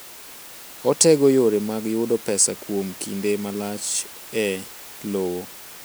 Otego yore mag yudo pesa kuom kinde malach e lowo.